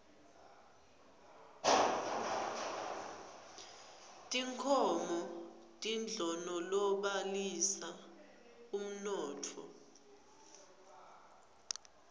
tinkhomo tindlonolobalisa umnotho